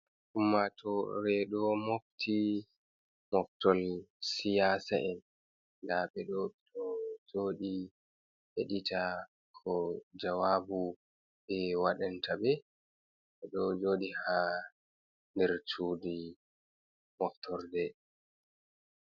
Ummatore ɗo mofti moftol siyasa'en da ɓe ɗo be ɗo jodi heɗita ko jawabu ɓe wadanta ɓe be ɗo jodi ha nder cudi moftorɗe